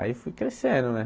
Aí fui crescendo, né?